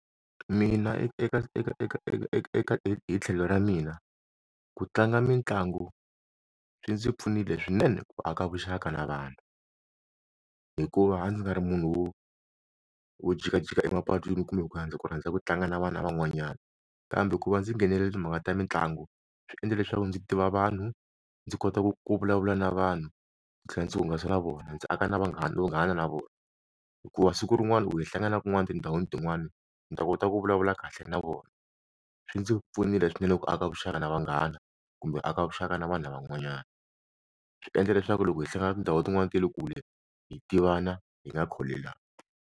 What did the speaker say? Mina eka eka eka eka eka hi tlhelo ra mina ku tlanga mitlangu swi ndzi pfunile swinene ku aka vuxaka na vanhu hikuva ndzi nga ri munhu wo jikajika emapatwini kumbe hi ku handle ku rhandza ku tlanga na vana van'wanyana kambe ku va ndzi nghenela timhaka ta mitlangu swi endla leswaku ndzi tiva vanhu ndzi kota ku ku vulavula na vanhu ndzi tlhela ndzi hungasa na vona ndzi aka na vanghana vunghana na vona hikuva siku rin'wana u hlangana kun'wana tindhawini tin'wani ni ta kota ku vulavula kahle na vona swi ndzi pfunile swinene ku aka vuxaka na vanghana kumbe aka vuxaka na vana van'wanyana swi endla leswaku loko hi hlangana tindhawu tin'wani ta le kule hi tivana hi nga kholelani.